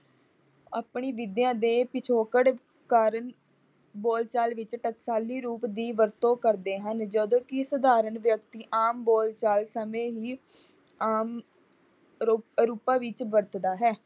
ਆਪਣੀ ਵਿਦਿਆ ਦੇ ਪਿਛਕੋੜ ਕਾਰਨ ਬੋਲ ਚਾਲ ਵਿੱਚ ਟਕਸਾਲੀ ਰੂਪ ਦੀ ਵਰਤੋਂ ਕਰਦੇ ਹਨ। ਜਦੋਂ ਕਿ ਸਾਧਾਰਨ ਵਿਅਕਤੀ ਆਮ ਬੋਲ ਚਾਲ ਸਮੇਂ ਹੀ ਆਮ ਰੂਪਾਂ ਵਿੱਚ ਵਰਤਦਾ ਹੈ।